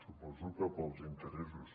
suposo que pels interessos